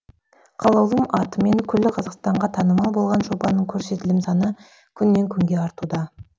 қалаулым атымен күллі қазақстанға танымал болған жобаның көрсетілім саны күннен күнге артуда